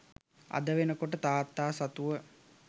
අද වෙන කොට තාත්තා සතුව